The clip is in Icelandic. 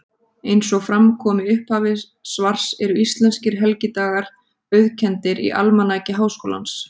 Eins og fram kom í upphafi svars eru íslenskir helgidagar auðkenndir í Almanaki Háskólans.